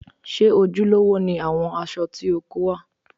Ṣé ojúlówó ni àwọn aṣọ tí o kó wá?